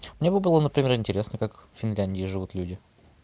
мне бы было например интересно как финляндия живут люди